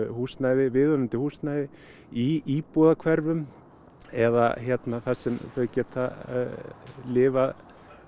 húsnæði viðunandi húsnæði í íbúðahverfum eða þar sem þau getað lifað